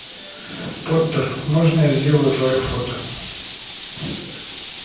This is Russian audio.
поттер можно я сделаю твоё фото